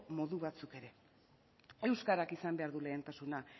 modu batzuk ere euskarak izan behar du lehentasuna